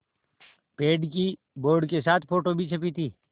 पेड़ की बोर्ड के साथ फ़ोटो भी छपी थी